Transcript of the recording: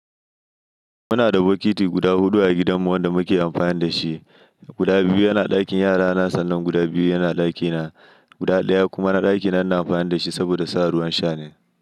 Muna da bokiti guda huɗu a gidanmu wanda muke amfani da shi. Guda biyu yana a ɗakin yara na sannan, guda biyu yana a ɗakina. Guda ɗaya kuma na ɗakina, ina amfani da shi saboda sa ruwan sha ne.